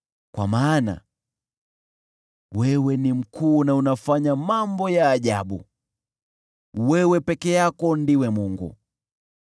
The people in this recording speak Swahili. Kwa maana wewe ni mkuu, na unafanya mambo ya ajabu; wewe peke yako ndiwe Mungu.